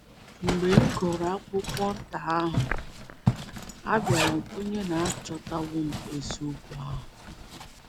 Mgbe m gụrụ akwụkwọ nta ahụ, abịara m kwenye na m achọtawo eziokwu ahụ.